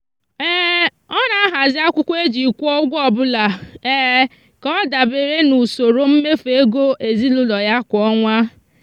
ọ na-ahazi akwụkwọ e ji kwụọ ụgwọ ọbụla ka ọ dabere n'usoro mmefu ego ezinụụlọ ya kwa ọnwa.